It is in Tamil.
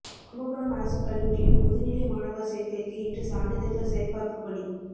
கும்பகோணம் அரசுக் கல்லூரியில் முதுநிலை மாணவா் சோ்க்கைக்கு இன்று சான்றிதழ்கள் சரிபாா்ப்புப் பணி